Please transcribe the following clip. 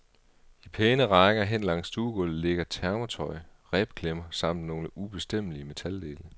I pæne rækker hen langs stuegulvet ligger termotøj, rebklemmer samt nogle ubestemmelige metaldele.